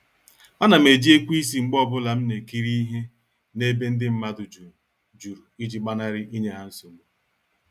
A nam eji ekweisi mgbe ọbụla m na-ekiri ihe na-ebe ndị mmadụ jụrụ jụrụ iji gbanari inye ha nsogbu.